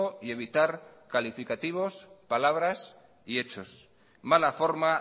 y evitar calificativos palabras y hechos mala forma